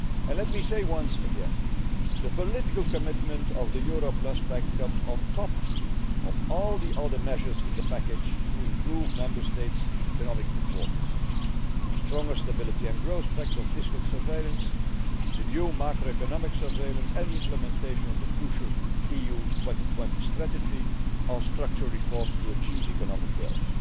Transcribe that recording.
Let me say once again that the political commitment of the Euro Plus Pact comes on top of all the other measures in the package to improve Member States' economic performance the stronger Stability and Growth Pact on fiscal surveillance, the new macroeconomic surveillance and implementation of the crucial EU 2020 Strategy on structural reforms to achieve economic growth.